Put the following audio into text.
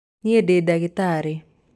Niĩ ndĩ ndagĩtarĩ.